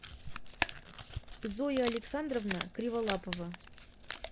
зоя александровна криволапова